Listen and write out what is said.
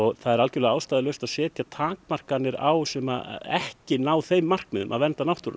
það er algjörlega ástæðulaust að setja takmarkanir á sem ekki ná þeim markmiðum að vernda náttúruna